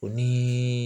O ni